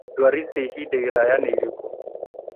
Ndwari cia ihinda iraya nĩ irĩkũ